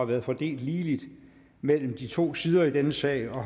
været fordelt ligeligt mellem de to sider i denne sal og